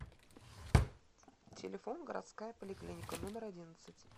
телефон городская поликлиника номер одиннадцать